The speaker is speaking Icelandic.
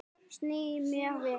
Sný mér við.